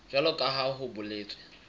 jwalo ka ha ho boletswe